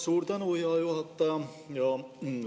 Suur tänu, hea juhataja!